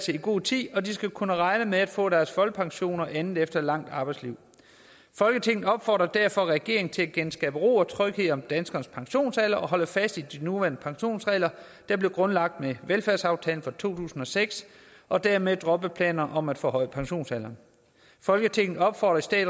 i god tid og de skal kunne regne med at få deres folkepension og andet efter et langt arbejdsliv folketinget opfordrer derfor regeringen til at genskabe ro og tryghed om danskernes pensionsalder og holde fast i de nuværende pensionsregler der blev grundlagt med velfærdsaftalen fra to tusind og seks og dermed droppe planerne om at forhøje pensionsalderen folketinget opfordrer i